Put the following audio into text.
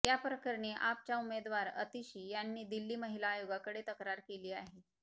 या प्रकरणी आपच्या उमेदवार आतिशी यांनी दिल्ली महिला आयोगाकडे तक्रार केली आहे